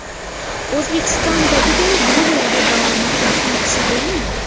O‘zbekistondagiday bu yerda davomat muhim hisoblanmaydi.